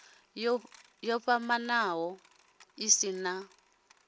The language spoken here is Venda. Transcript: yo vhofhanaho i si na